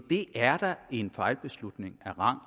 det er da en fejlbeslutning af rang